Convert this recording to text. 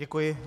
Děkuji.